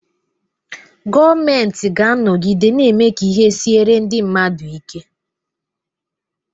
Gọọmenti ga-anọgide na-eme ka ihe siere ndị mmadụ ike.